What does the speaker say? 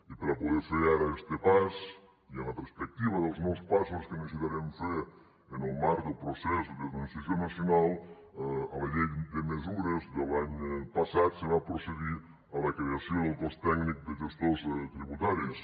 i per a poder fer ara este pas i amb la perspectiva dels nous passos que necessitarem fer en el marc del procés de transició nacional a la llei de mesures de l’any passat se va procedir a la creació del cos tècnic de gestors tributaris